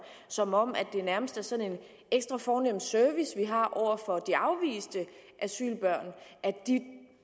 som om det nærmest er sådan en ekstra fornem service vi har over for de afviste asylbørn at de